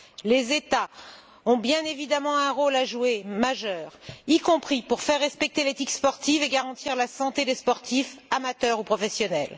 Les États ont bien évidemment un rôle majeur à jouer, y compris pour faire respecter l'éthique sportive et garantir la santé des sportifs, amateurs ou professionnels.